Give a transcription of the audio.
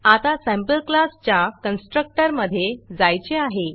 आता सॅम्पलक्लास च्या कन्स्ट्रक्टर मधे जायचे आहे